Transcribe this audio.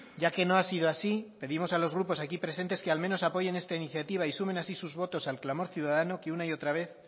ya que no ha sido así pedimos a los grupos aquí presentes que al menos apoyen está iniciativa y sumen así sus votos al clamor ciudadano que una y otra vez